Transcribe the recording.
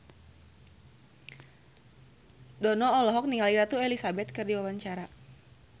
Dono olohok ningali Ratu Elizabeth keur diwawancara